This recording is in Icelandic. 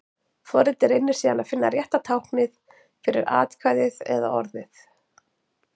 Forritið reynir síðan að finna rétta táknið fyrir atkvæðið eða orðið.